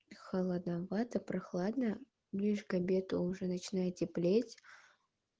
холодновато прохладно ближе к обеду уже начинает теплеть